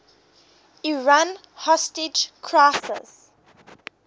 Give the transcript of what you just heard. iran hostage crisis